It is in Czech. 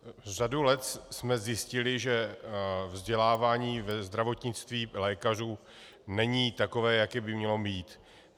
Řadu let jsme zjistili, že vzdělávání ve zdravotnictví lékařů není takové, jaké by mělo být.